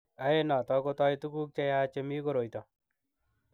Ae noto kotoi tuguk che yach chemi koroito.